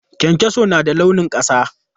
Kyankyaso na da launin ƙasa.